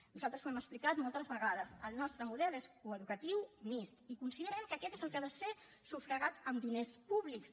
nosaltres ho hem explicat moltes vegades el nostre model és coeducatiu mixt i considerem que aquest és el que ha de ser sufragat amb diners públics